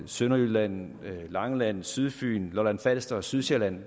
sønderjylland langeland sydfyn lolland falster og sydsjælland